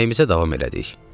Yeməyimizə davam elədik.